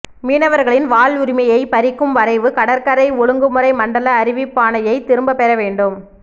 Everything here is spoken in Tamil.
மீனவர்களின் வாழ்வுரிமையை பறிக்கும் வரைவு கடற்கரை ஒழுங்குமுறை மண்டல அறிவிப்பாணையை திரும்ப பெற வேண்டும்